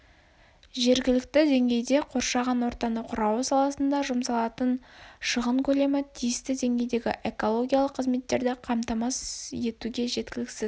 жергілікті деңгейде қоршаған ортаны қорғау саласына жұмсалатын шығын көлемі тиісті деңгейдегі экологиялық қызметтерді қамтамасыз етуге жеткіліксіз